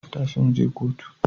Tashi mu je kotu